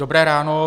Dobré ráno.